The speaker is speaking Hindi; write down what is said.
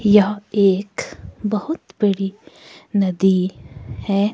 यह एक बहुत बड़ी नदी है।